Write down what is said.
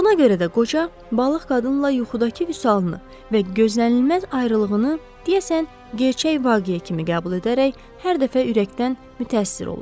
Buna görə də qoca balıq qadınla yuxudakı Vüsalını və gözlənilməz ayrılığını deyəsən gerçək vaqeə kimi qəbul edərək hər dəfə ürəkdən mütəəssir olurdu.